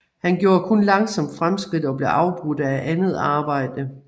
Han gjorde kun langsomt fremskridt og blev afbrudt af andet arbejde